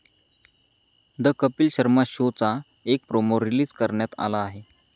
The Kapil Sharma शोचा एक promo release करण्यात आला आहे.